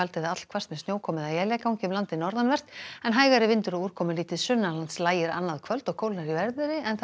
eða allhvasst með sjókomu eða éljagangi um landið norðanvert en hægari vindur og úrkomulítið lægir annaðkvöld og kólnar í veðri